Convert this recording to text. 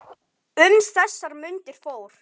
Um þessar mundir fór